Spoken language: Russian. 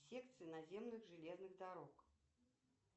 секции наземных железных дорог